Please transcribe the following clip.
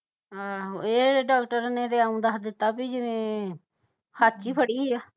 ਆਹੋ ਇਹ ਡਾਕਟਰ ਨੇ ਤੇ ਇਉ ਦਸ ਦਿੱਤਾ ਬਈ ਜਿਵੇ ਹੇਠ ਵਿਚ ਫੜੀ ਆ